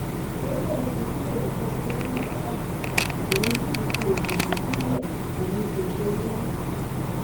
ó lóun ti kúrò nínú ẹgbẹ náà báyìí òun sì ti fi òṣèlú sílẹ òun kó ṣe mọ